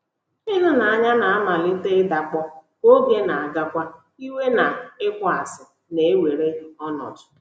Ịhụnanya na - amalite ịdakpọ, ka oge na - agakwa, iwe na ịkpọasị na - ewere ọnọdụ.